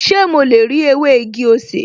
Ṣé mo lè rí ewé igi-osè?